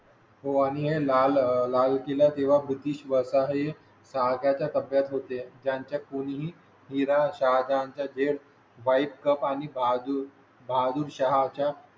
हो लाल किला तेव्हा बुद्धी श्वास आहे. शाळा च्या ताब्यात होते ज्यांच्या कोणी ही हिरा शाळांच्या झी वाइफ कप आणि बाजून बहादूर शहा च्या